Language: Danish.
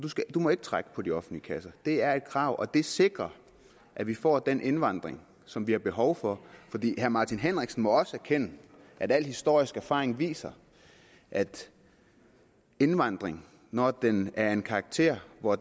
må ikke trække på de offentlige kasser det er et krav og det sikrer at vi får den indvandring som vi har behov for herre martin henriksen må også erkende at den historiske erfaring viser at indvandring når den er af en karakter hvor